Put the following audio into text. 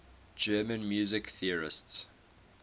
german music theorists